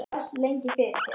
Því var velt lengi fyrir sér.